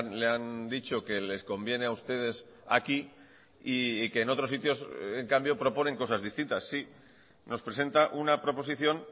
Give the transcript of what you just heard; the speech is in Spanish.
le han dicho que les conviene a ustedes aquí y que en otros sitios en cambio proponen cosas distintas sí nos presenta una proposición